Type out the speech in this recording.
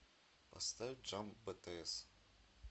поставь джамп битиэс